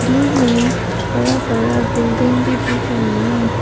दूर में बड़ा बड़ा बिल्डिंग भी दिख रही है।